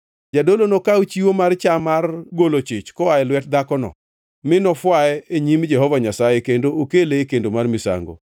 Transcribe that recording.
Jadolo nokaw chiwo mar cham mar golo chich koa e lwet dhakono, mi nofwaye e nyim Jehova Nyasaye kendo okele e kendo mar misango.